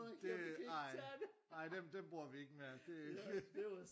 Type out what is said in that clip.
Det ej ej dem dem bruger vi ikke mere det